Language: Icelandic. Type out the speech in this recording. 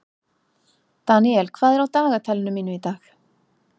Daniel, hvað er á dagatalinu mínu í dag?